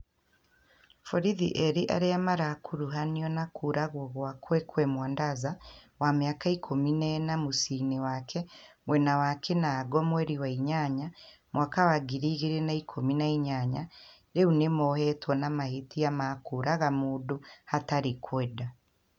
borithi erĩ arĩa marakuruhaniona kũũragwo gwa Kwekwe Mwandaza wa mĩaka ikũmi na ĩna mũciĩ-inĩ wake mwena wa Kinango mweri wa inyanya , mwaka wa ngiri igĩrĩ na ikumi na inya rĩu nĩ mohetwo na mahĩtia ma kũũraga mũndũ hatarĩ kwenda.